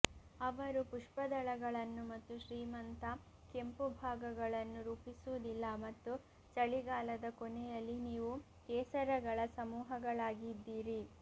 ಅವರು ಪುಷ್ಪದಳಗಳನ್ನು ಮತ್ತು ಶ್ರೀಮಂತ ಕೆಂಪು ಭಾಗಗಳನ್ನು ರೂಪಿಸುವುದಿಲ್ಲ ಮತ್ತು ಚಳಿಗಾಲದ ಕೊನೆಯಲ್ಲಿ ನೀವು ಕೇಸರಗಳ ಸಮೂಹಗಳಾಗಿದ್ದೀರಿ